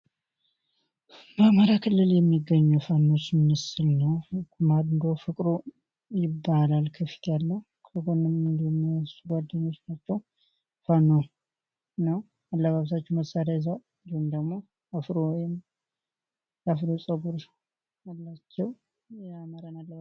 በአማራ ክልል የሚገኙ ፋኖዎች ምስል ነዉ። ማዲጎ ፍቅሩ ይባላል ከፊት ያለዉ። ከጎንም እንዲሁ የእሱ ጓደኞች ናቸዉ። ፋኖ ነዉ። አለባብሳቸዉ መሳሪያ ይዘዋል። እንዲሁም የአፍሮ ፀጉር አላቸዉ።